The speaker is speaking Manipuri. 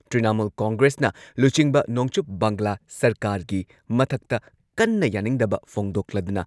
ꯏꯀꯥꯏ ꯈꯨꯝꯅꯕ ꯑꯃꯁꯨꯡ ꯃꯈꯣꯏꯒꯤ ꯁꯦꯀ꯭ꯌꯣꯔꯤꯇꯤ ꯄꯤꯕ ꯍꯥꯏꯕꯁꯤꯅꯤ꯫